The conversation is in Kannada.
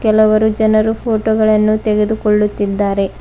ಕೆಲವರು ಜನರು ಫೋಟೋ ಗಳನ್ನು ತೆಗೆದುಕೊಳ್ಳುತ್ತಿದ್ದಾರೆ.